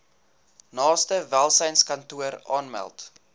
naaste welsynskantoor aanmeld